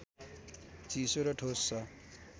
चिसो र ठोस छ